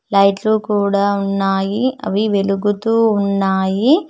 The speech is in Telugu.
లైట్లు కూడా ఉన్నాయి అవి వెలుగుతూ ఉన్నాయి.